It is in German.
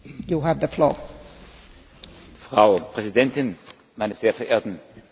Frau Präsidentin, meine sehr verehrten Damen und Herren Abgeordneten!